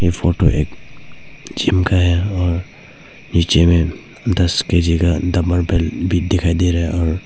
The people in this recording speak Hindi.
ई फोटो एक जिम का है और नीचे में दस के_जी डंबल बेल्ट भी दिखाई दे रहा है और--